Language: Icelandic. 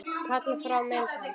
Kalla fram mynd hans.